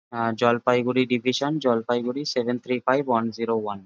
Jalpaiguri division Jalpaiguri seven three five one zero one.